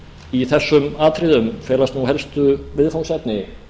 í þessum atriðum felast nú helstu viðfangsefni